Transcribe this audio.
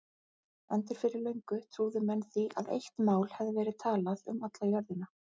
Endur fyrir löngu trúðu menn því að eitt mál hefði verið talað um alla jörðina.